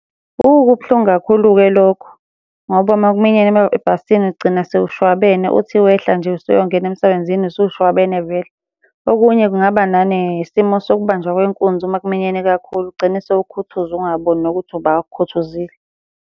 Hhu, kubuhlungu kakhulu-ke lokho, ngoba uma kuminyene ebhasini ugcina sewushwabene uthi wehla nje usuyongena emsebenzini usushwabene vele. Okunye kungaba nanesimo sokubanjwa kwenkunzi uma kuminyene kakhulu. Ugcine sewukhuthuzwa ungaboni nokuthi ubani okukhuthuzile.